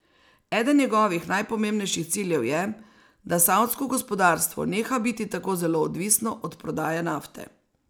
Eden njegovih najpomembnejših ciljev je, da savdsko gospodarstvo neha biti tako zelo odvisno od prodaje nafte.